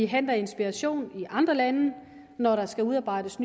henter inspiration i andre lande når der skal udarbejdes